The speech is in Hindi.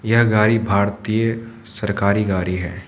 यह गाड़ी भारतीय सरकारी गाड़ी है।